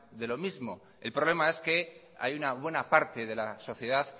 de lo mismo el problema es que hay una buena parte de la sociedad